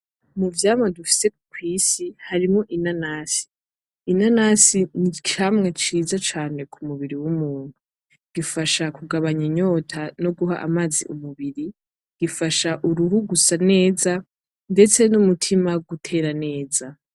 Mu vyama dufise kwisi harimwo inanasi, inanasi ni icamwa ciza cane ku mubiri wu muntu, gifasha kugaba inyota no guha amazi umubiri gifasha uruhu gusa neza. Detse n'umutima gutera neza.